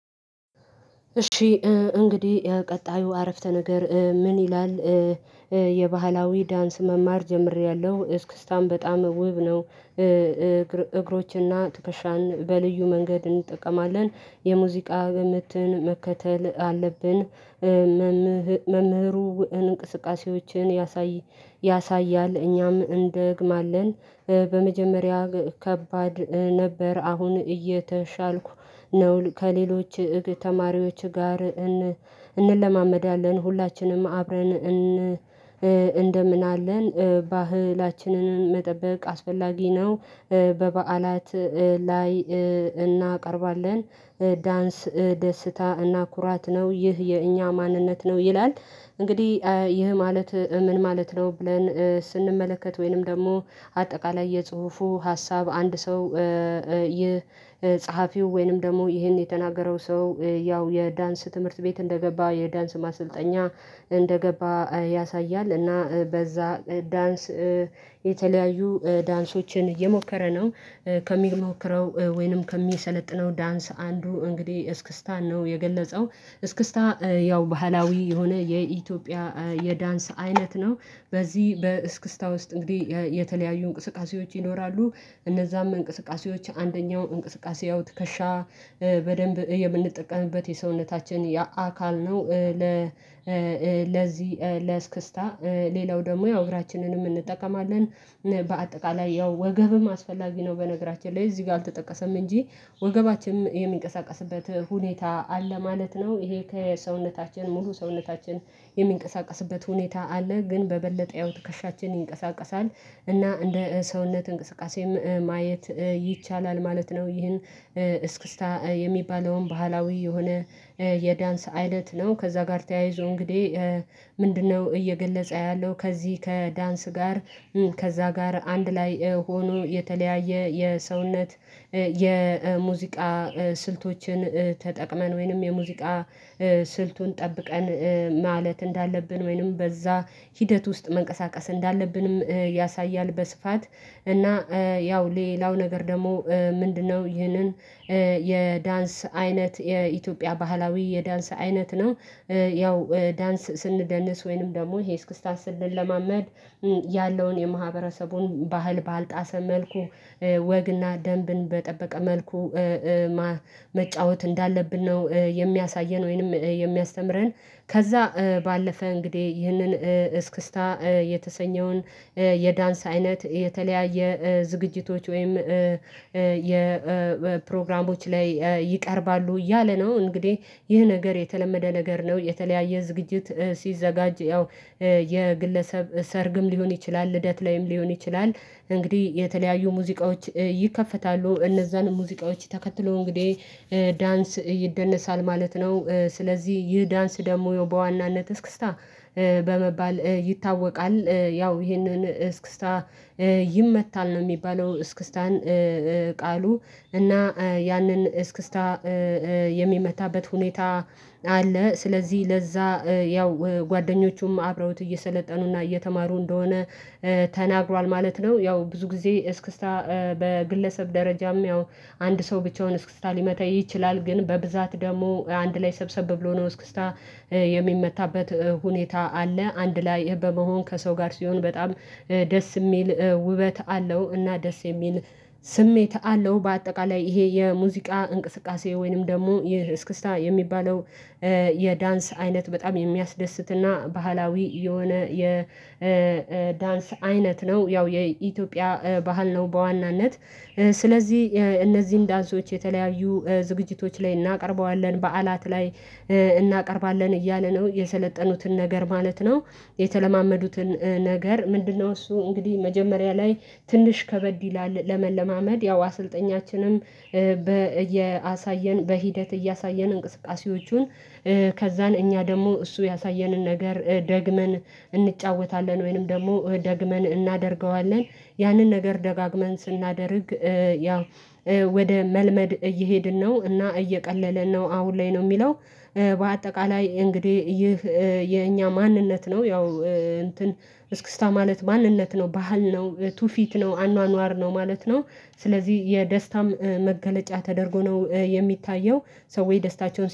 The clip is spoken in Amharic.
እሺ እንግዲህ ቀጣዩ አረፍተ ነገር ምን ይላል? የባህላዊ ዳንስ መማር ጀምሬያለሁ እስክስታን በጣም ውብ ነው። እግሮችንና ትከሻን በልዩ መንገድ እንጠቀማለን የሙዚቃ ምትን መከተል አለብን። መምህሩ እንቅስቃሴዎችን ያሳያል እኛም እንደግማለን በመጀመሪያ ከባድ ነበር። አሁን እየተሻልኩ ነው ከሌሎች ተማሪዎች ጋር እንለማመዳለን ሁላችንም አብረን እንደምን አለን ባህላችንን መጠበቅ አስፈላጊ ነው። በበዓላት ላይ እናቀርባለን ዳንስ ደስታ እና ኩራት ነው ይህ የእኛ ማንነት ነው ይላል። እንግዲህ ይህ ማለት ምን ማለት ነው? ብለን ስንመለከት ወይንም ደግሞ አጠቃላይ የጽሁፉ ሀሳብ አንድ ሰው። ይህ ጸሀፊው ወይንም ደግሞ ይሄን የተናገረው ሰው ያው የዳንስ ትምህርት ቤት እንደገባ የዳንስ ማሰልጠኛ እንደገባ ያሳያል። እና በዛ ዳንስ የተለያዩ ዳንሶችን እየሞከረ ነው። ከሚሞክረው ወይንም ከሚሰለጥነው ዳንስ አንዱ እንግዲህ እስክስታን ነው የገለጸው እስክስታ ያው ባህላዊ የሆነ የኢትዮጵያ የዳንስ አይነት ነው። በዚህ በእስክስታ ውስጥ እንግዲህ የተለያዩ እንቅስቃሴዎች ይኖራሉ። እነዛም እንቅስቃሴዎች አንደኛው እንቅስቃሴያዊ ትከሻ በደንብ የምንጠቀምበት የሰውነታችን የአካል ነው ለለዚህ ለስክስታ ሌላው ደግሞ እግራችንንም እንጠቀማለን። በአጠቃላይ ያው ወገብም አስፈላጊ ነው በነገራችን ላይ እዚህ ጋ አልተጠቀሰም እንጂ። ወገባችንም የሚንቀሳቀስበት ሁኔታ አለ ማለት ነው። ይሄ ከሰውነታችን ሙሉ ሰውነታችን የሚንቀሳቀስበት ሁኔታ አለ ግን በበለጠ ያው ትከሻችን ይንቀሳቀሳል። እና እንደ ሰውነት እንቅስቃሴም ማየት ይቻላል ማለት ነው። ይህን እስክስታ የሚባለውን ባህላዊ የሆነ የዳንስ አይነት ነው ከዛ ጋር ተያይዞ እንግዲህ። ምንድነው እየገለጸ ያለው? ከዚህ ከዳንስ ጋር ከዛ ጋር አንድ ላይ ሆኖ የተለያየ የሰውነት የሙዚቃ ስልቶችን ተጠቅመን ወይንም የሙዚቃ ስልቱን ጠብቀን ማለት እንዳለብን ወይንም በዛ ሂደት ውስጥ መንቀሳቀስ እንዳለብንም ያሳያል። በስፋት እና ያው ሌላው ነገር ደግሞ ምንድነው? ይህንን የዳንስ አይነት የኢትዮጵያ ባህላዊ የዳንስ አይነት ነው። ያው ዳንስ ስንደነስ ወይንም ደግሞ ይሄ እስክስታን ስንለማመድ ያለውን የማህበረሰቡን ባህል ባልጣሰ መልኩ ወግና ደንብን በጠበቀ መልኩ መጫወት እንዳለብን ነው የሚያሳየን ወይንም የሚያስተምረን። ከዛ ባለፈ እንግዲህ ይህንን እስክስታ የተሰኘውን የዳንስ አይነት የተለያየ ዝግጅቶች ወይም የፕሮግራሞች ላይ ይቀርባሉ። እያለ ነው እንግዲህ ይህ ነገር የተለመደ ነገር ነው። የተለያየ ዝግጅት ሲዘጋጅ ያው የግለሰብ ሰርግም ሊሆን ይችላል ልደት ላይም ሊሆን ይችላል እንግዲህ የተለያዩ ሙዚቃዎች ይከፈታሉ እነዛን ሙዚቃዎች ተከትሎ እንግዲህ ዳንስ ይደነሳል ማለት ነው። ስለዚህ ይህ ዳንስ ደግሞ በዋናነት እስክስታ በመባል ይታወቃል። ያው ይህንን እስክስታ ይመታል ነው የሚባለው እስክስታን። ቃሉ እና ያንን እስክስታ የሚመታበት ሁኔታ አለ። ስለዚህ ለዛ ያው ጓደኞቹም አብረውት እየሰለጠኑና እየተማሩ እንደሆነ ተናግሯል ማለት ነው። ያው ብዙ ጊዜ እስክስታ በግለሰብ ደረጃም ያው አንድ ሰው ብቻውን እስክስታ ሊመታ ይችላል። ግን በብዛት ደግሞ አንድ ላይ ሰብሰብ ብሎ ነው እስክስታ የሚመታበት ሁኔታ አለ። አንድ ላይ በመሆን ከሰው ጋር ሲሆን በጣም ደስ የሚል ውበት አለው። እና ደስ የሚል ስሜት አለው። በአጠቃላይ ይሄ የሙዚቃ እንቅስቃሴ ወይንም ደግሞ ይህ እስክስታ የሚባለው የዳንስ አይነት በጣም የሚያስደስትና ባህላዊ የሆነ የዳንስ አይነት ነው። ያው የኢትዮጵያ ባህል ነው። በዋናነት ስለዚህ እነዚህን ዳንሶች የተለያዩ ዝግጅቶች ላይ እናቀርበዋለን በዓላት ላይ እናቀርባለን እያለ ነው የሰለጠኑትን ነገር ማለት ነው። የተለማመዱትን ነገር ምንድነው? እሱ እንግዲህ መጀመሪያ ላይ ትንሽ ከበድ ይላል። ለመለማመድ ያው አሰልጣኛችንም በ እየ አሳየን በሂደት እያሳየን እንቅስቃሴዎቹን። ከዛን እኛ ደግሞ እሱ ያሳየንን ነገር ደግመን እንጫወታለን ወይንም ደግመን እናደርገዋለን። ያንን ነገር ደጋግመን ስናደርግ ያው ወደ መልመድ እየሄድን ነው እና እየቀለለን ነው። አሁን ላይ ነው የሚለው። በአጠቃላይ እንግዲህ ይህ የእኛ ማንነት ነው ያው እንትን እስክስታ ማለት ማንነት ነው ባህል ነው ትውፊት ነው አኗኗር ነው ማለት ነው። ስለዚህ የደስታም መገለጫ ተደርጎ ነው የሚታየው። ሰዎች ደስታቸውን